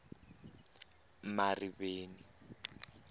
mariveni